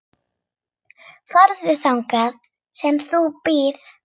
Farðu þangað sem hún býr.